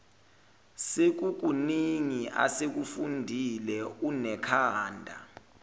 sekukuningi asekufundile unekhanda